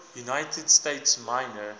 united states minor